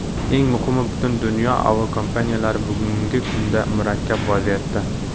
Eng muhimi, butun dunyo aviakompaniyalari bugungi kunda murakkab vaziyatda.